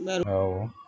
Awɔ